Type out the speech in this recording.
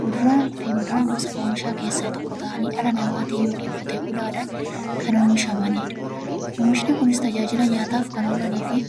Kuduraafi muduraan gosa oomishaa keessaa tokko ta'anii, dhala namaatin yookiin Qotee bulaadhan kan oomishamaniidha. Oomishni Kunis, tajaajila nyaataf kan oolaniifi